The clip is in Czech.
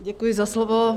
Děkuji za slovo.